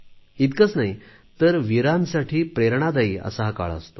इतकेच नाही तर वीरांसाठी प्रेरणादायी असा हा काळ असतो